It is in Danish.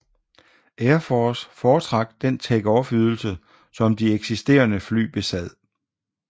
Air Force fortrak den takeoff ydelse som de eksisterende fly besad